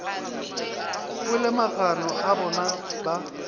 kwele magano a bona ba